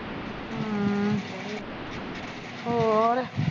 ਹੋਰ